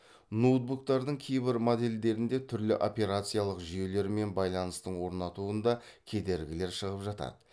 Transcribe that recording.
ноутбуктардың кейбір модельдерінде түрлі операциялық жүйелермен байланыстың орнатуында кедергілер шығып жатады